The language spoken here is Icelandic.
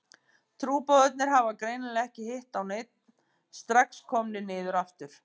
Trúboðarnir hafa greinilega ekki hitt á neinn, strax komnir niður aftur.